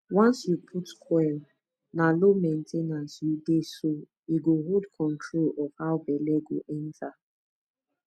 once you put coil na low main ten ance u dey so e go hold control of how belle go enter